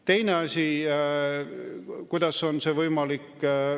Teine moodus, kuidas on see võimalik.